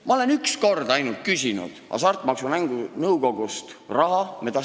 Ma olen ainult üks kord Hasartmaksumängu Nõukogust raha küsinud.